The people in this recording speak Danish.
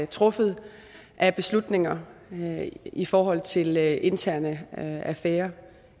truffet af beslutninger i forhold til interne affærer